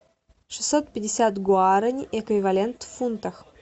шестьсот пятьдесят гуарани эквивалент в фунтах